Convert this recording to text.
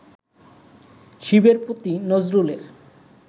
শিবের প্রতি নজরুলের